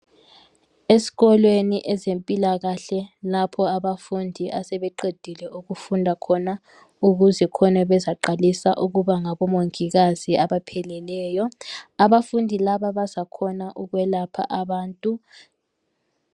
Esikolweni ezempilakahle lapho abafundi asebeqedile ukufunda khona ukuze khona bezaqalisa ukuba ngabomongikazi abaphelelyo. Abafundi laba bazakhona ukwelapha abantu